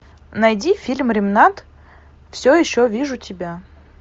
найди фильм ремнант все еще вижу тебя